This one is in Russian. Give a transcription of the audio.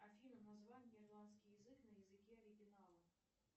афина название ирландский язык на языке оригинала